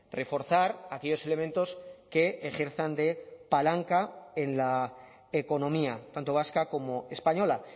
reforzar aquellos elementos que ejerzan de palanca en la economía tanto vasca como española